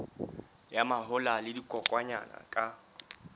ya mahola le dikokwanyana ka